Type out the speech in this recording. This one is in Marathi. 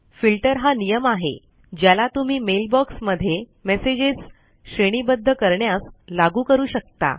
फिल्टर हा नियम आहे ज्याला तुम्ही मेल बॉक्स मध्ये मेसेजेस श्रेणीबद्ध करण्यास लागू करू शकता